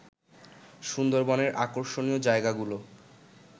সুন্দরবনের আকর্ষণীয় জায়গাগুলো